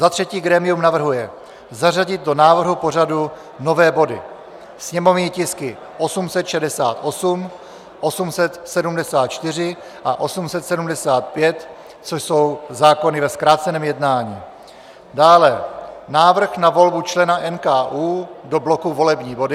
Za třetí grémium navrhuje zařadit do návrhu pořadu nové body: sněmovní tisky 868, 874 a 875, což jsou zákony ve zkráceném jednání; dále návrh na volbu člena NKÚ do bloku volební body;